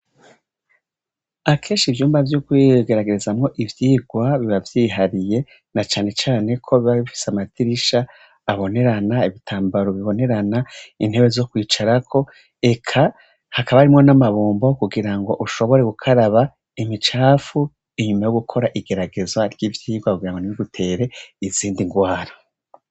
Akesha ivyumba vy'ugwiegeragezamwo ivyirwa bibavyihariye na canecane ko biba bifise amatirisha abonerana ibitambaro bibonerana intewe zo kwicarako eka hakaba arimwo n'amabumbo kugira ngo ushobore gukaraba imicafu inyuma yo gukora igeragezwa ry'ivyo wakugira ngo ni we gutere izindi ngwara.